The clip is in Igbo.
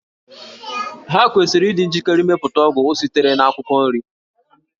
Ha kwesịrị ịdị njikere ịmepụta ọgwụ sitere na akwụkwọ nri